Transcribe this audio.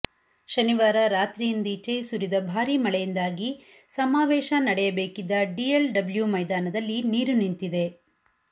ಶನಿವಾರ ರಾತ್ರಿಯಿಂದೀಚೆ ಸುರಿದ ಭಾರಿ ಮಳೆಯಿಂದಾಗಿ ಸಮಾವೇಶ ನಡೆಯಬೇಕಿದ್ದ ಡಿಎಲ್ಡಬ್ಲ್ಯೂ ಮೈದಾನದಲ್ಲಿ ನೀರು ನಿಂತಿದೆ